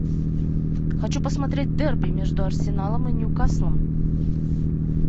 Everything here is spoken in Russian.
хочу посмотреть дерби между арсеналом и ньюкаслом